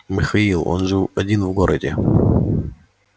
михаил он жил один в городе